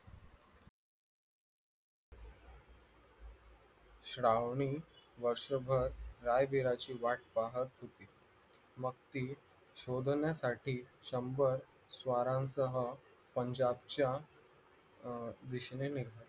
श्रावणी वर्षभर रायवीरांची वाट पाहत होती मग ती शोधण्यासाठी शंभर स्वारांसह पंजाबच्या